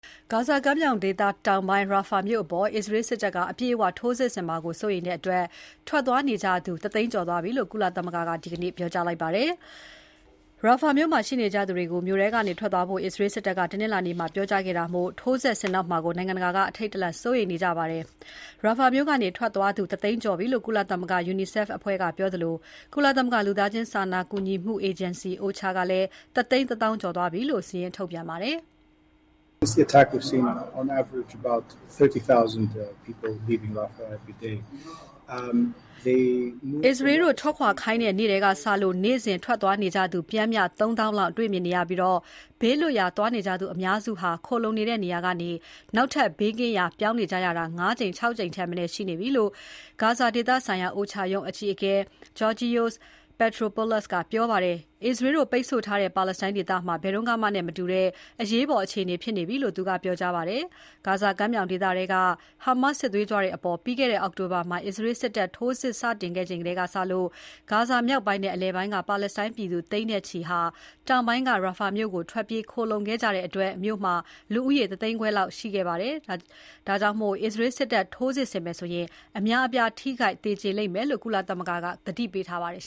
ဂါဇာကမ်းမြောင်ဒေသတောင်ပိုင်း Rafah မြို့အပေါ် အစ္စရေးစစ်တပ်က အပြည့်အဝထိုးစစ်ဆင်မှာကို စိုးရိမ်တဲ့အတွက် ဘေးလွတ်ရာ ထွက်သွားနေကြသူ ၁ သိန်းကျော်သွားပြီလို့ ကုလသမဂ္ဂက ဒီနေ့ သောကြာနေ့မှာ ပြောကြားပါတယ်။ Rafah မြို့မှာရှိနေကြသူတွေကို မြို့ထဲကနေ ထွက်သွားဖို့ အစ္စရေး စစ်တပ်က တနင်္လာနေ့မှာ ပြောကြားခဲ့တာမို့ ထိုးစစ်ဆင်တော့မှာကို နိုင်ငံတကာက အထိတ်တလန့် စိုးရိမ်နေကြပါတယ်။ Rafah မြို့က ထွက်သွားသူ ၁ သိန်းကျော်ပြီလို့ ကုလသမဂ္ဂ UNICEF အဖွဲ့ကပြောသလို ကုလသမဂ္ဂ လူသားချင်းစာနာကူညီမှုအေဂျင်စီ OCHA က ၁ သိန်း ၁ သောင်းကျော်သွားပြီလို့ စာရင်း ထုတ်ပြန်ပါတယ်။ အစ္စရေးတို့ထွက်ခွာခိုင်းတဲ့နေ့ကတည်းကစလို့ နေ့စဉ် ထွက်သွားနေကြသူ ပျှမ်းမျှ ၃ သောင်းလောက် တွေ့မြင်နေရပြီး ဘေးလွတ်ရာသွားနေကြသူ အများစုဟာ ခိုလှုံနေတဲ့နေရာကနေ ဘေးကင်းရာ ထပ်ပြောင်းနေကြရတာ ၅ ကြိမ် ၆ ကြိမ်ထက်မနည်း ရှိနေပြီလို့ ဂါဇာဒေသဆိုင်ရာ OCHA ရုံးအကြီးအကဲ Georgios Petropoulos ကပြောပါတယ်။ အစ္စရေးတို့ ပိတ်ဆို့ထားတဲ့ပါလက်စတိုင်း ဒေသမှာ ဘယ်တုန်းကမှနဲ့မှ မတူတဲ့ အရေးပေါ် အခြေအနေဖြစ်နေပြီလို့ သူကပြောကြားပါတယ်။ ဂါဇာကမ်းမြောင်ဒေသထဲက Hamas စစ်သွေးကြွတွေအပေါ် ပြီးခဲ့တဲ့ အောက်တိုဘာမှာ အစ္စရေး စစ်တပ်ထိုးစစ် စတင်ခဲ့ချိန်ကစလို့ ဂါဇာမြောက်ပိုင်းနဲ့ အလယ်ပိုင်းက ပါလက်စတိုင်းပြည်သူ သိန်းနဲ့ချီ တောင်ပိုင်းက Rafah မြို့ကို ထွက်ပြေးခိုလှုံခဲ့ကြတဲ့အတွက် မြို့မှာ လူဦးရေ ၁ သိန်းခွဲလောက် ရှိခဲ့တာမို့ အစ္စရေး စစ်တပ် ထိုးစစ်ဆင်မယ်ဆိုရင် အများအပြား ထိခိုက်သေကြေလိမ့်မယ်လို့ ကုလသမဂ္ဂက သတိပေးထားပါတယ်